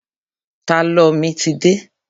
Tálọ̀ mi ti dé.